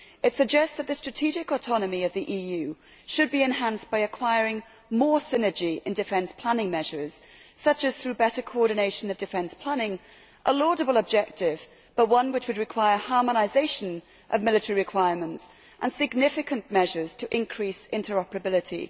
It suggests that the strategic autonomy of the EU should be enhanced by acquiring more synergy in defence planning measures, such as through better coordination of defence planning a laudable objective but one which would require harmonisation of military requirements and significant measures to increase interoperability.